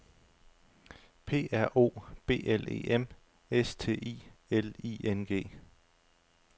P R O B L E M S T I L I N G